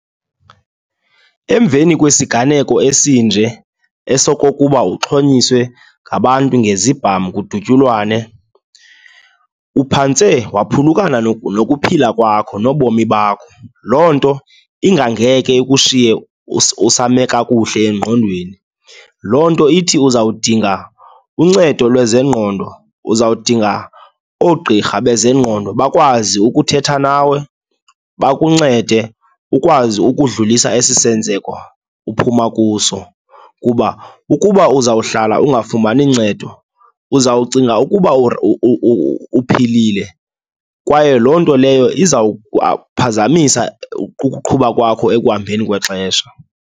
Emveni kwesiganeko esinje esokokuba uxhonyiswe ngabantu ngezibham kudutyulwane, uphantse waphulukana nokuphila kwakho, nobomi bakho. Loo nto ingangekhe ikushiye usame kakuhle engqondweni. Loo nto ithi uzawudinga uncedo lwezengqondo, uzawudinga oogqirha bezengqondo bakwazi ukuthetha nawe, bakuncede ukwazi ukudlulisa esi senzeko uphuma kuso. Kuba ukuba uzawuhlala ungafumani uncedo, uza kucinga ukuba uphilile kwaye loo nto leyo izawukuphazamisa ukuqhuba kwakho ekuhambeni kwexesha.